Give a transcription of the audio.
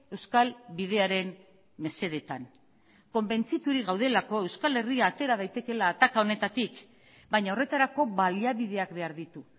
euskal bidearen mesedetan konbentziturik gaudelako euskal herria atera daitekeela ataka honetatik baina horretarako baliabideak behar ditu